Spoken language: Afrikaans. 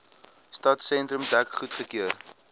stadsentrum dek goedgekeur